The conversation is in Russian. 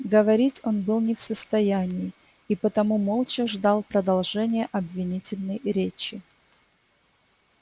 говорить он был не в состоянии и потому молча ждал продолжения обвинительной речи